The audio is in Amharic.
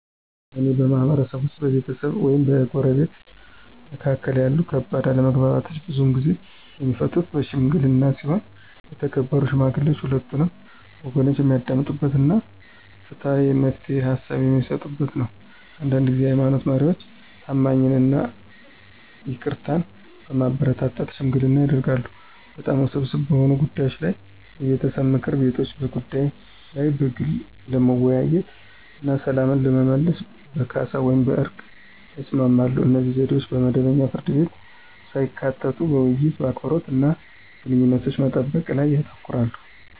በእኔ ማህበረሰብ ውስጥ፣ በቤተሰብ ወይም በጎረቤቶች መካከል ያሉ ከባድ አለመግባባቶች ብዙውን ጊዜ የሚፈቱት በሺምግሊና ሲሆን የተከበሩ ሽማግሌዎች ሁለቱንም ወገኖች የሚያዳምጡ እና ፍትሃዊ የመፍትሄ ሃሳብ በሚሰጡበት ነው። አንዳንድ ጊዜ የሃይማኖት መሪዎች ታማኝነትን እና ይቅርታን በማበረታታት ሽምግልና ያደርጋሉ። በጣም ውስብስብ በሆኑ ጉዳዮች ላይ የቤተሰብ ምክር ቤቶች በጉዳዩ ላይ በግል ለመወያየት እና ሰላምን ለመመለስ በካሳ ወይም በዕርቅ ላይ ይስማማሉ. እነዚህ ዘዴዎች መደበኛ ፍርድ ቤቶችን ሳያካትቱ በውይይት፣ በአክብሮት እና ግንኙነቶችን በመጠበቅ ላይ ያተኩራሉ።